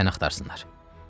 Qoy sən axtarsınlar.